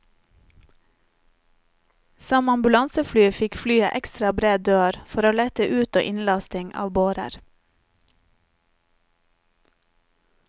Som ambulansefly fikk flyet ekstra bred dør for å lette ut og innlasting av bårer.